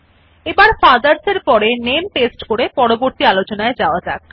এবার ফাদারস এর পরে নামে পেস্ট করে পরবর্তী আলোচনায় যাওয়া যাক